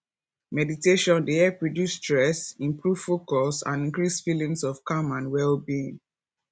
meditation dey help reduce stress improve focus and increase feelings of calm and wellbeing